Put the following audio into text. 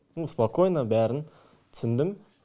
ну спокойно бәрін түсіндім